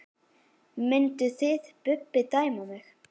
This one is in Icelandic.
Mynduð þið Bubbi dæma mig?